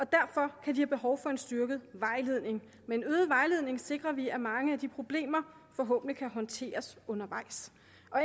derfor have behov for en styrket vejledning med en øget vejledning sikrer vi at mange af de problemer forhåbentlig kan håndteres undervejs